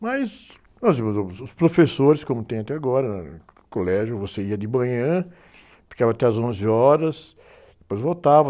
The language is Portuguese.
Mas mais ou menos os professores, como tem até agora, no colégio você ia de manhã, ficava até às onze horas, depois voltava.